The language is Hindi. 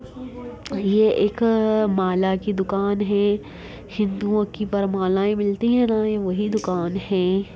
ये एक अ माला की दुकान है हिंदुओं की वर मालाएँ मिलती है ना ये वही दुकान है।